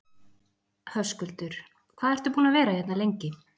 Höskuldur: Hvað ertu búinn að vera hérna lengi?